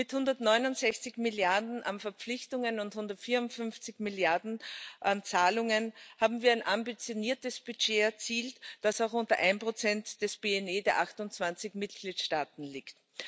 Mit 169 Milliarden EUR an Verpflichtungen und 154 Milliarden EUR an Zahlungen haben wir ein ambitioniertes Budget erzielt, das auch unter 1 des BNE der 28 Mitgliedstaaten liegt.